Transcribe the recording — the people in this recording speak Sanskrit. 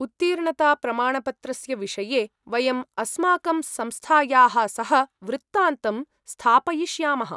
उत्तीर्णताप्रमाणपत्रस्य विषये वयं अस्माकं संस्थायाः सह वृत्तान्तं स्थापयिष्यामः।